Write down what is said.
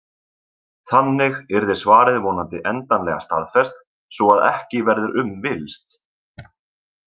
Þannig yrði svarið vonandi endanlega staðfest svo að ekki verður um villst.